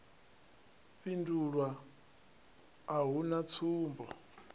fhindulwa a hu na tsumbo